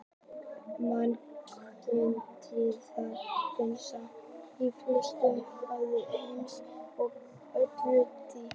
manganhnyðlingar finnast í flestum höfum heims og á nánast öllu dýpi